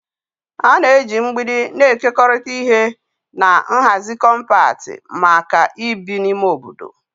A na-eji mgbidi na-ekekọrịta ihe na nhazi kọmpat maka ibi na ime obodo.